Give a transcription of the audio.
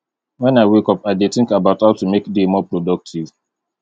when i wake up i dey think about how to make day more productive